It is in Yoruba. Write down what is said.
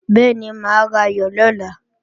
Bẹ́ẹ̀ni, mà á rayọ̀ lọ́la